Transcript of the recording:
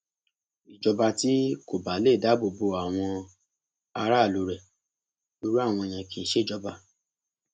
ìjọba tí kò bá lè dáàbò bo àwọn aráàlú rẹ irú àwọn yẹn kì í ṣèjọba